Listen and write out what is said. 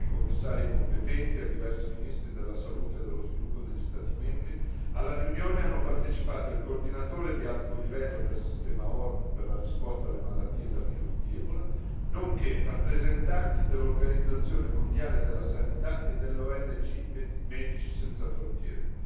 Oltre ai Commissari competenti e a diversi ministri della salute e dello sviluppo degli Stati membri, alla riunione hanno partecipato il coordinatore di alto livello del sistema ONU per la risposta alla malattia da virus di ebola nonché rappresentanti dell'Organizzazione mondiale della sanità e della ONG Medici senza frontiere.